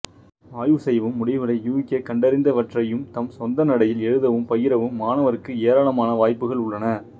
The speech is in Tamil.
ஆய்வு செய்யவும் முடிவுகளை யூகிக்கவும்கண்டறிந்தவற்றை தம் சொந்த நடையில் எழுதவும் பகிரவும் மாணவருக்கு ஏராளமான வாய்ப்புகள் உள்ளன